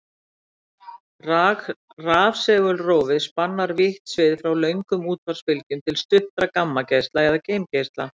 Rafsegulrófið spannar vítt svið frá löngum útvarpsbylgjum til stuttra gamma-geisla eða geimgeisla.